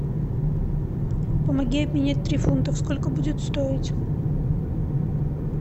помоги обменять три фунта сколько будет стоить